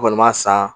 N kɔni m'a san